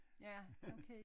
Ja okay